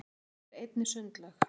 þar er einnig sundlaug